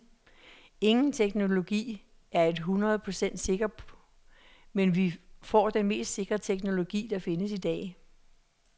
Ingen teknologi er et hundrede procent sikker, men vi får den mest sikre teknologi, der findes i dag.